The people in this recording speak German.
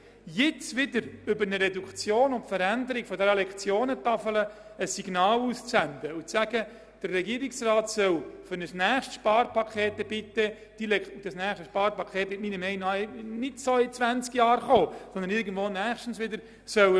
Jetzt wieder über eine Reduktion der Lektionentafel zu diskutieren und zu sagen, der Regierungsrat solle diese im Rahmen eines nächsten Sparpakets erneut anschauen, wäre ein sehr gefährliches Signal.